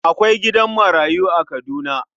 Akwai gidan marayu a Kaduna.